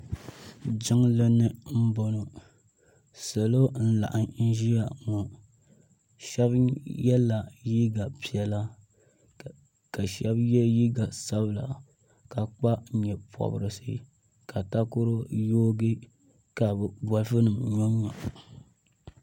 jinli ni n bɔŋɔ salo n laɣim zaya ŋɔ shɛbi yɛla liga piɛlla ka shɛbi yɛ liga sabila ka kpa nyɛporisi ka takoro yuugi ka be boliƒɔ nim yunyu